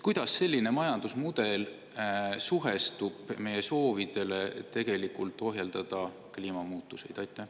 Kuidas selline majandusmudel suhestub meie sooviga ohjeldada kliimamuutuseid?